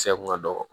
Kisɛ kun ka dɔgɔ